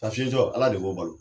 Sa fiyentɔ ala de b'o balo.